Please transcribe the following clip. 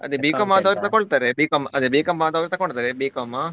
ಅದೇ B.com ಆದವರು ತಕೊಳ್ತಾರೆ B.com ಅದೇ B.com ಆದವರು ತಕೊಳ್ತಾರೆ B.com .